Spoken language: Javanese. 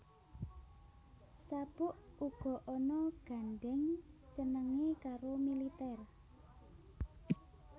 Sabuk uga ana gandheng cenenge karo militer